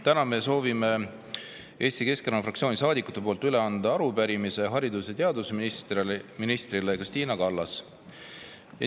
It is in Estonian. Täna me soovime Eesti Keskerakonna fraktsiooni saadikute poolt üle anda arupärimise haridus- ja teadusminister Kristina Kallasele.